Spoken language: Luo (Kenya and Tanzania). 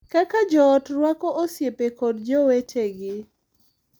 Kaka joot rwako osiepe kod jowetegi